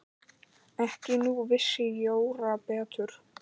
En nú vissi Jóra betur.